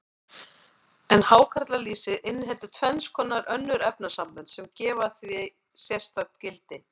En hákarlalýsið inniheldur tvenns konar önnur efnasambönd, sem gefa því sérstakt gildi.